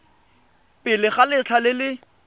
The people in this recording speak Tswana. pele ga letlha le le